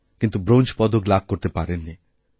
কিন্তু ব্রোঞ্জ পদক লাভ করতেপারেন নি